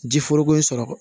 Ji foroko in sɔrɔ